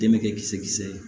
Denkɛ kisɛ kisɛ